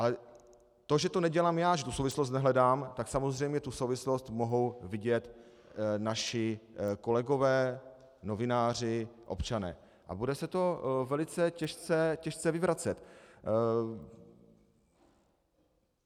Ale to, že to nedělám já, že tu souvislost nehledám, tak samozřejmě tu souvislost mohou vidět naši kolegové, novináři, občané a bude se to velice těžce vyvracet.